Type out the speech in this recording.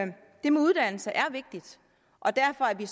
det med uddannelse er vigtigt og derfor er vi